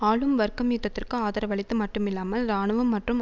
ஆளும் வர்க்கம் யுத்ததிற்கு ஆதரவளித்தது மட்டுமல்லாமல் இராணுவம் மற்றும்